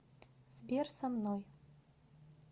сбер со мной